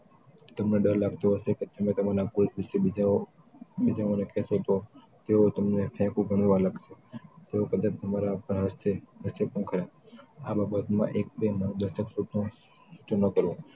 તમને ડર લાગતો હશે કે તમે તમારા કોઈક વિશે બીજાઓને કેતા હો તો તેઓ તમને ફેકઉ બનવા લાગશે તેવો કદાચ તમારા પર ત્રાસદે હશે ખુંખાર આ બાબતમાં એક બે નવ દસ ન કરવો